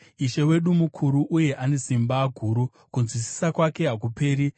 Ishe wedu mukuru uye ane simba guru; kunzwisisa kwake hakuperi.